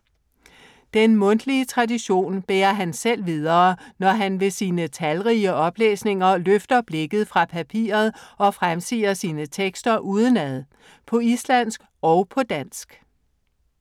Den mundtlige tradition bærer han selv videre, når han ved sine talrige oplæsninger løfter blikket fra papiret og fremsiger sine tekster udenad. På islandsk og på dansk.